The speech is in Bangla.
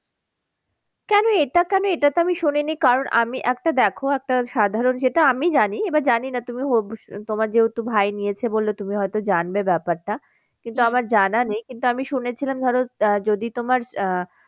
কেন এটা কেন? এটা তো আমি শুনিনি কারণ আমি একটা দেখো একটা সাধারণ যেটা আমি জানি এবার জানি না তুমি তোমার যেহেতু ভাই নিয়েছে বললে তুমি হয়তো জানবে ব্যাপারটা। কিন্তু আমার জানা নেই কিন্তু আমি শুনেছিলাম ধরো আহ যদি তোমার আহ